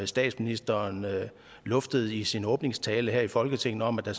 statsministeren luftede i sin åbningstale her i folketinget om at der